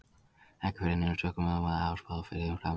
Ekki fer neinum sögum um að þær hafi spáð fyrir um framtíðina.